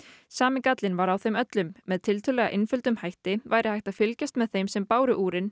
sami gallinn var á þeim öllum með tiltölulega einföldum hætti væri hægt að fylgjast með þeim sem báru